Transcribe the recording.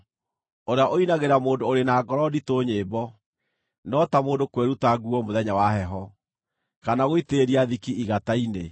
Ũrĩa ũinagĩra mũndũ ũrĩ na ngoro nditũ nyĩmbo, no ta mũndũ kwĩruta nguo mũthenya wa heho, kana gũitĩrĩria thiki igata-inĩ.